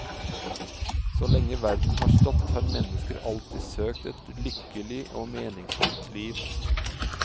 Så lenge verden har stått har mennesker alltid søkt et lykkelig og meningsfullt liv.